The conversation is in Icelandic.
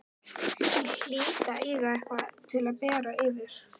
Ég hlýt að eiga eitthvað til að bera yfir.